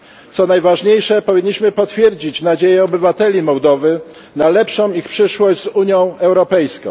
Co najważniejsze, powinniśmy potwierdzić nadzieje obywateli Mołdowy na ich lepszą przyszłość z Unią Europejską.